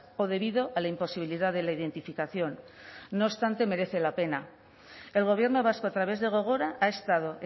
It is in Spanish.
o debido a la imposibilidad de la identificación no obstante merece la pena el gobierno vasco a través de gogora ha estado